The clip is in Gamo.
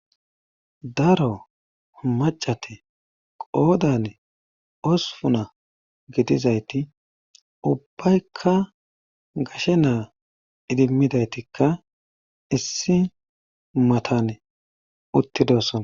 daro macate qoodan osupuna gidizayti ubbaykka gashe naa idimmidaytikka issi matan uttidosona